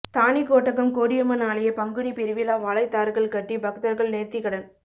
தாணிக்கோட்டகம் கோடியம்மன் ஆலய பங்குனி பெருவிழா வாழைத்தார்கள் கட்டி பக்தர்கள் நேர்த்திக்கடன்